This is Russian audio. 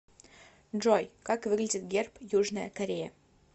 джой как выглядит герб южная корея